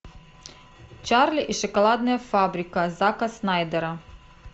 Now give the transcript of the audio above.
чарли и шоколадная фабрика зака снайдера